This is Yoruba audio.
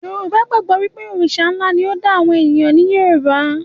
Yorùbá gbàgbọ́ pé Òrìṣà ńlá ni ó dá àwọn èèyàn ní Yorùbá